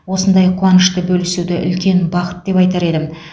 осындай қуанышты бөлісуді үлкен бақыт деп айтар едім